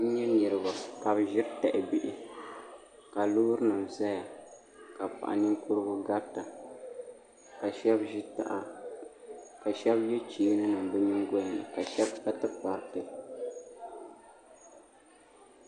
N nyɛ niraba ka bi ʒiri tahabihi ka loori nim ʒɛya ka paɣa ninkurigu garita ka shab ʒi taha ka shab yɛ cheeni nim bi nyingoya ni ka shab kpa tikpariti